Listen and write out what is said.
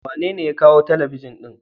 Wa nene ya kawo Telebijin din?